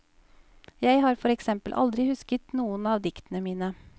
Jeg har for eksempel aldri husket noen av diktene mine.